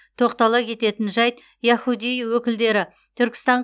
тоқтала кететін жайт яхудей өкілдері түркістан